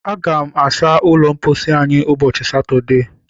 Aga m asa ụlọ mposi anyị ụbọchị Satọdee.